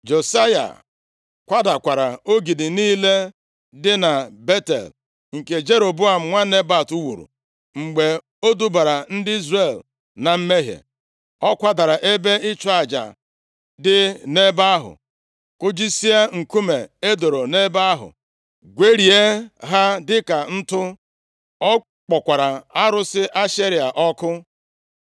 Josaya kwadakwara ogidi niile dị na Betel, nke Jeroboam nwa Nebat wuru mgbe o dubara ndị Izrel na mmehie. Ọ kwadara ebe ịchụ aja dị nʼebe ahụ, kụjisie nkume e doro nʼebe ahụ, gwerie ha dịka ntụ. Ọ kpọkwara arụsị Ashera ọkụ.